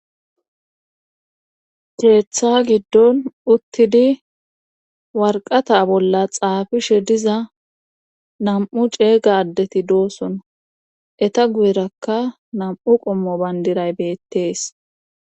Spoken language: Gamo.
Keeththa giddon uttidi warqata bolla xaafishe diza nam'u ceega addeti doossona eta guyerakka nam'u qommo bandiray beettees